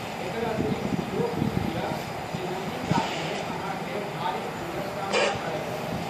एकर अतिरिक्त इहो बुझि लिअ जे नदीकातमे अहाँकेँ भारी भीड़क सामना करय पड़त।